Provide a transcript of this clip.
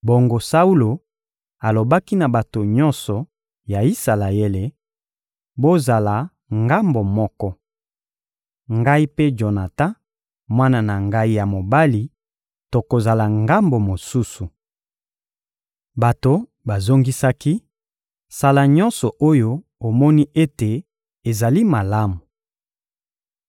Bongo Saulo alobaki na bato nyonso ya Isalaele: — Bozala ngambo moko. Ngai mpe Jonatan, mwana na ngai ya mobali, tokozala ngambo mosusu. Bato bazongisaki: — Sala nyonso oyo omoni ete ezali malamu.